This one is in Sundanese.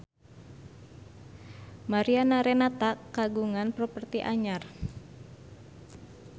Mariana Renata kagungan properti anyar